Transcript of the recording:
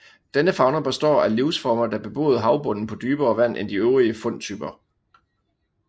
Denne fauna består af livsformer der beboede havbunden på dybere vand end de øvrige fundtyper